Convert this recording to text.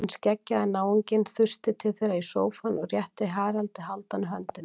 Hinn skeggjaði náunginn þusti til þeirra í sófann og rétti Haraldi Hálfdáni höndina.